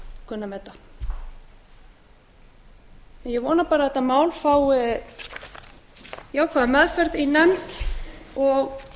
kunna að meta ég vona bara að þetta mál fái jákvæða meðferð í nefnd og